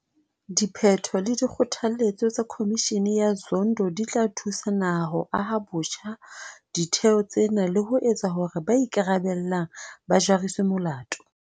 Diphetho le dikgothaletso tsa Khomishene ya Zondo di tla thusa naha ho aha botjha ditheo tsena le ho etsa hore ba ikarabellang ba jariswe molato.